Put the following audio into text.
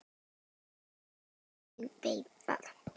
Já, ég veit það